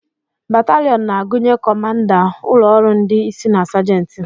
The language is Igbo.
Bataliọn na-agụnye kọmanda, ụlọ ọrụ ndị isi na sajenti.